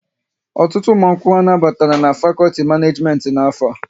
Ọtụtụ ụmụ akwụkwọ anaghị batara n'fakolti Maneejimenti n'afọ a